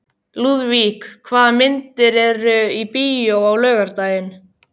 Lúðvík, hvaða myndir eru í bíó á laugardaginn?